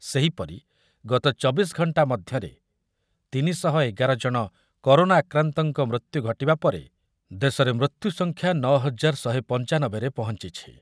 ସେହିପରି ଗତ ଚବିଶ ଘଣ୍ଟା ମଧ୍ୟରେ ତିନି ଶହ ଏଗାର ଜଣ କରୋନା ଆକ୍ରାନ୍ତଙ୍କ ମୃତ୍ୟୁ ଘଟିବା ପରେ ଦେଶରେ ମୃତ୍ୟୁସଂଖ୍ଯା ନଅ ହଜାର ଶହେ ପଞ୍ଚାନବେ ରେ ପହଞ୍ଚିଛି ।